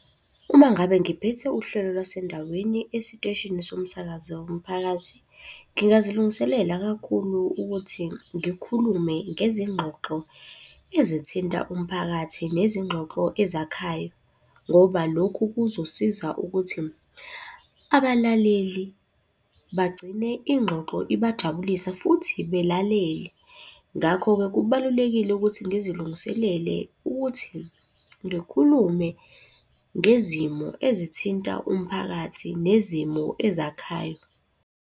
Uma ngabe ngiphethe uhlelo lwasendaweni esiteshini somsakazo womphakathi ngingazilungiselela kakhulu ukuthi ngikhulume ngezinxoxo ezithinta umphakathi nezingxoxo ezakhayo. Ngoba lokhu kuzosiza ukuthi, abalaleli bagcine ingxoxo ibajabulisa futhi belalele. Ngakho-ke kubalulekile ukuthi ngizilungiselele ukuthi ngikhulume ngezimo ezithinta umphakathi nezimo ezakhayo.